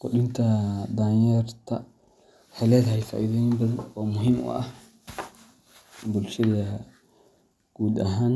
Qudinta danyarta waxay leedahay faa’iidooyin badan oo muhiim u ah bulshada guud ahaan.